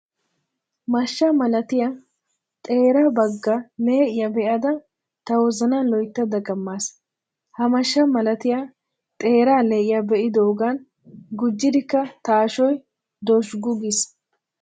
Mashsha malatiyaa xeera baggaa lee'iyaa be'ada ta wozanan loyttada dagamaas. Ha mashsha malatiyaa xeeraa le'iyaa be'idoogan gujjidikka ta ashoy dozhggu giis.